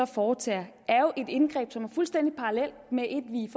foretager er jo et indgreb som er fuldstændig parallelt med et vi